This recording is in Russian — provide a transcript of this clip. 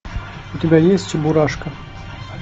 у тебя есть чебурашка